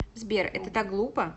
сбер это так глупо